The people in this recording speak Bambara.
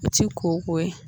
O ti koko ye .